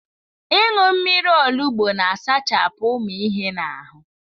Ịṅụ mmiri olugbo na-asachapụ ụmụ ihe na ahụ.